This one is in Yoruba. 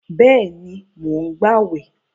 Bẹ́ẹ̀ni, mò ń gbàwẹ̀